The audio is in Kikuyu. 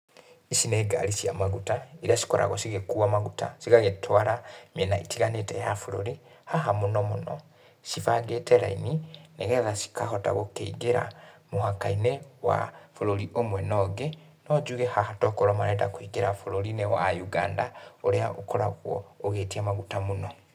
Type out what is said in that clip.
Ici nĩ ngari cia maguta, iria cikoraguo cigĩkuwa maguta cigagĩtwara mĩena ĩtiganĩte ya bũrũri. Haha mũno mũno cibangĩte raini nĩgetha cikahota gũkĩingĩra mũhaka-inĩ wa bũrũri ũmwe no ũngĩ. No njuge haha tokorwo marenda kũingĩra bũrũri-inĩ wa Uganda, ũrĩa ũkoragwo ũgĩtia maguta mũno.